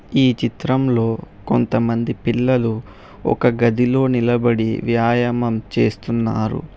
ఈ చిత్రంలో కొంతమంది పిల్లలు ఒక గదిలో నిలబడి వ్యాయామం చేస్తున్నారు.